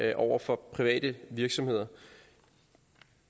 det over for private virksomheder